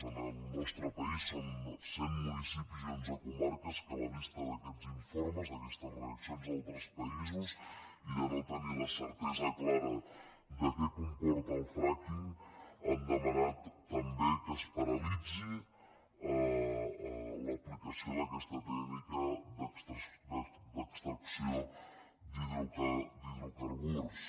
en el nostre país són cent municipis i onze comarques que a la vista d’aquests informes d’aquestes reaccions d’altres països i de no tenir la certesa clara de què comporta el fracking han demanat també que es paralitzi l’aplicació d’aquesta tècnica d’extracció d’hidrocarburs